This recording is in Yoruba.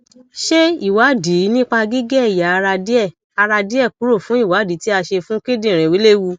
ṣé ìwádìí nípa gige eya ara die ara die kuro fun iwadi ti a se fun kindinrin lewù